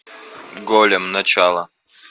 голем начало